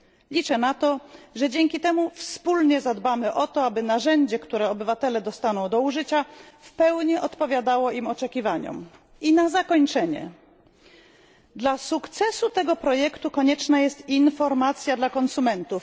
Liczę na to, że dzięki temu wspólnie zadbamy, aby narzędzie, które obywatele dostaną do użycia, w pełni odpowiadało ich oczekiwaniom. I na zakończenie dla sukcesu tego projektu konieczna jest informacja dla konsumentów.